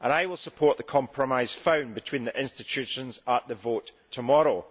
I will support the compromise found between the institutions at the vote tomorrow.